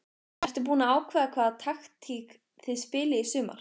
Ertu búinn að ákveða hvaða taktík þið spilið í sumar?